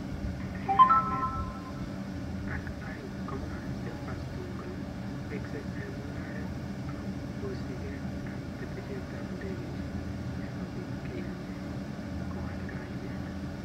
Eng' arawet at aeng' komwa Silverstone kole weeksei eng' mung'aret agosigei ak ketesyet ap ndegeisiek sigobiit keyianchi kowal kainet.